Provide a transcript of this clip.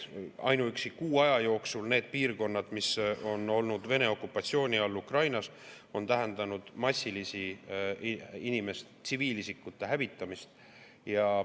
Ainuüksi kuu aja jooksul nendes piirkondades, mis on olnud Ukrainas Vene okupatsiooni all, on see tähendanud massilist tsiviilisikute hävitamist.